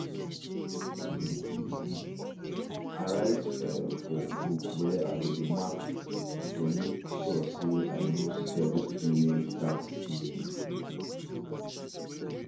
i write for for book where i go dey mark to make sure say i no steps during tax season